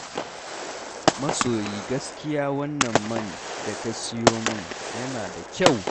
Masoyi gaskiya wannan man da ka sayo min yana da kyau.